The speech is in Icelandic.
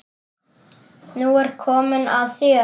Nú er komið að þér.